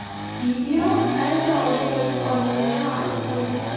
Video ancha oldin yozib olingani ma’lum qilingan.